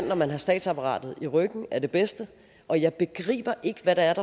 når man har statsapparatet i ryggen er det bedste og jeg begriber ikke hvad der